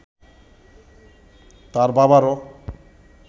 তার বাবারও